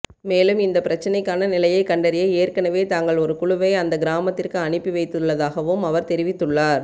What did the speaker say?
மேலும் இந்த பிரச்னைக்கான நிலையை கண்டறிய ஏற்கனவே தாங்கள் ஒரு குழுவை அந்த கிராமத்திற்கு அனுப்பி வைத்துள்ளதாகவும் அவர் தெரிவித்துள்ளார்